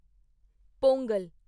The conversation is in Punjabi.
ਪੋਂਗਲ